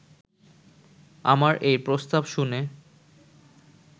আমার এই প্রস্তাব শুনে